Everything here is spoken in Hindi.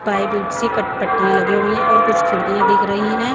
पाइप सी कट पट्टियां लगी हुई है और कुछ खिड़कियां दिख रही हैं।